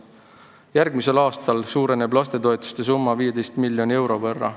Järgmisel aastal suureneb lastetoetuste summa 15 miljoni euro võrra.